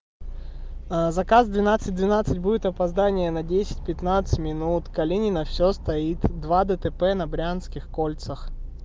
а заказ двенадцать двенадцать будет опоздание на десять пятнадцать минут калинино всё стоит два дтп на брянских кольцах